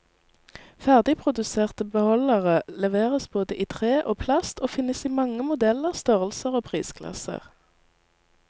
Ferdigproduserte beholdere leveres både i tre og plast, og finnes i mange modeller, størrelser og prisklasser.